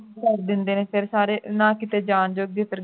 ਘਰ ਦੇ ਅੰਦਰ ਸਾਰੇ ਨਾ ਫਿਰ ਕਿੱਥੇ ਜਾਣ ਜੋਗੇ